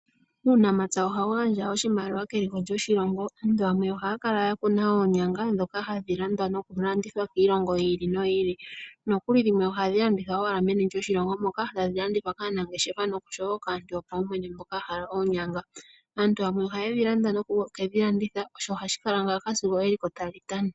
Uunamapya ohawu gandja oshimaliwa keliko lyoshilongo. Aantu yamwe ohaya kala ya kuna oonyanga ndhoka hadhi landwa noku landithwa kiilongo yi ili no yi ili. Dhimwe ohadhi landithwa owala meni lyoshilongo moka hadhi landithwa kaanangeshefa nosho woo kaantu yopawumwene. Aantu yamwe ohaye dhilanda noku ke dhi landitha osho hashi kala ngaaka sigo eliko tali tana.